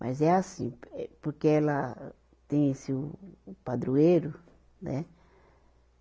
Mas é assim, eh porque ela tem esse o, o padroeiro, né?